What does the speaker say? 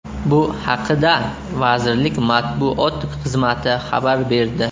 Bu haqida vazirlik matbuot xizmati xabar berdi.